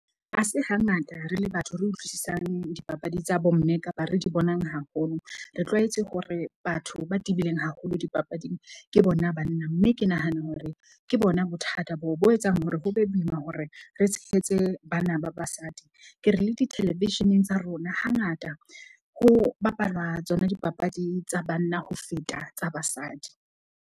Ha se hangata re le batho, re utlwisisang dipapadi tsa bo mme kapa re di bonang haholo. Re tlwaetse hore batho ba tebileng haholo dipapading ke bona banna. Mme ke nahana hore ke bona bothata bo bo etsang hore ho be boima hore re tshehetse bana ba basadi. Ke re le di-television-eng tsa rona hangata ho bapalwa tsona dipapadi tsa banna ho feta tsa basadi.